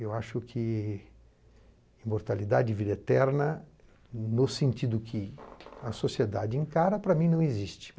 Eu acho que imortalidade vida eterna no sentido que a sociedade encara, para mim não existe.